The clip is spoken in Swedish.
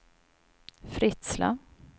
Fritsla